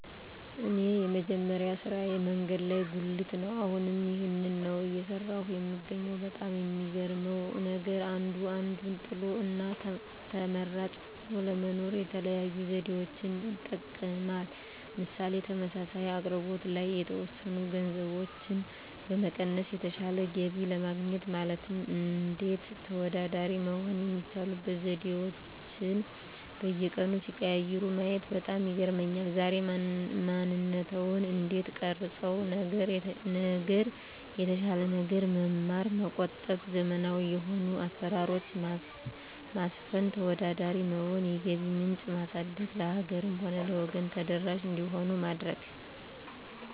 እኔ የመጀመሪያ ስራየ መንገድ ላይ ጉልት ነው አሁንም ይህንን ነው እየሰራሁ የምገኘው በጣም የሚገርመው ነገር አንዱ አንዱን ጥሎ እና ተመራጭ ሆኖ ለመኖር የተለያዩ ዘዴዎችን ይጠቀማል ምሳሌ ተመሳሳይ አቅርቦት ላይ የተወሰኑ ገንዘቦችን በመቀነስ የተሻለ ገቢ ለማግኘት ማለትም እንዴት ተወዳዳሪ መሆን የሚችሉበት ዘዴአቸዉን በየቀኑ ሲቀያይሩ ማየት በጣም ይገርመኛል ዛሬ ማንነትዎን እንዴት ቀረፀው ነገር የተሻለ ነገር መማር መቆጠብ ዘመናዊ የሆኑ አሰራሮች ማስፈን ተወዳዳሪ መሆን የገቢ ምንጭ ማሳደግ ለሀገርም ሆነ ለወገን ተደራሽ እንዲሆን ማድረግ